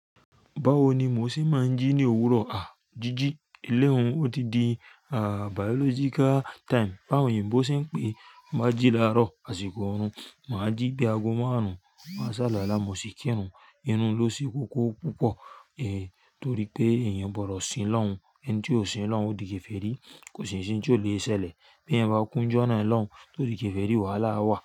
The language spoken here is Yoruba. Bawo ni mo ṣe máa ń jí ní òwúrọ̀? Àá, jíjí. Ilé hun odidi, àá, biological time. Báwo òyìnbó ṣe ń pè é. Máa jí láàárọ̀ àsìkò oorun, màá jí bí ago márùn-ún, máa sàlùwàlá mo sì kírun. Irùn un ló se kókó púpọ̀, ẹn, torí pé èèyàn gbọdọ̀ sin lọ́hun. Ẹni tí ò sin Ọlọ́hun ó di kèfèrí, kò sì ní in tí ò le sẹlẹ̀. Bí ẹyan bá kúnjú ọ̀nà ọlọrun, torí kẹ́fẹ̀ẹ́ rí, wàhálà á wà.